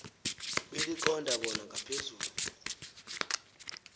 beliqonda bona ngaphezu